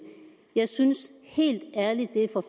jeg synes helt ærligt det er for